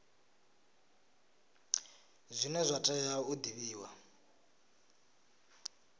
zwine zwa tea u divhiwa